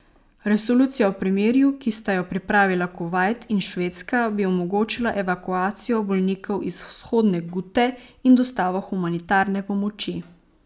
Resolucija o premirju, ki sta jo pripravila Kuvajt in Švedska, bi omogočila evakuacijo bolnikov iz Vzhodne Gute in dostavo humanitarne pomoči.